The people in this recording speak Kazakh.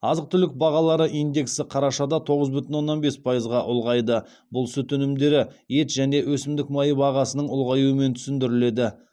азық түлік бағалары индексі қарашада тоғыз бүтін оннан бес пайызға ұлғайды бұл сүт өнімдері ет және өсімдік майы бағасының ұлғаюымен түсіндіріледі